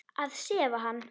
Að sefa hann.